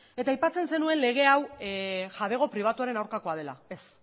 eta aipatzen zenuen lege hau jabego pribatuaren aurkakoa dela ez